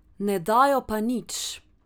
Ne dajo pa nič.